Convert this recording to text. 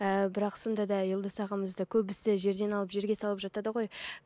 ііі бірақ сонда да елдос ағамызды көбісі жерден алып жерге салып жатады ғой